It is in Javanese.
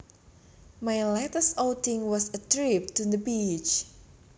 My latest outing was a trip to the beach